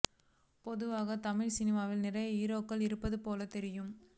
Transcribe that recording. பொதுவாக தமிழ் சினிமாவில் நிறைய ஹீரோக்கள் இருப்பது போலத் தெரியும்